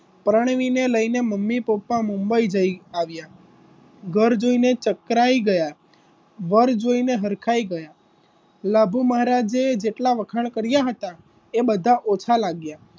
પરણવીને લઈને mummy papa Mumbai જઈ આવ્યા ઘર જોઈને ચકરાઈ ગયા વર જોઈને હરખાઈ ગયા છે લાભુ મહારાજ એ જેટલા વખાણ કર્યા હતા એ બધા ઓછા લાગ્યા,